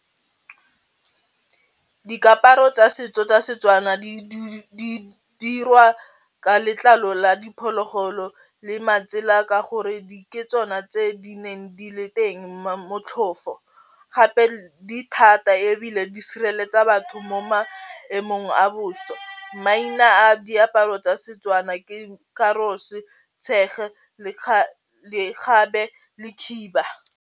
Dikaparo tsa setso tsa Setswana di dirwa ka letlalo la diphologolo le matsela ka gore di ke tsona tse di neng di le teng motlhofo gape di thata ebile di sireletsa batho mo maemong a bosa maina a diaparo tsa Setswana ke lekgabe le khiba.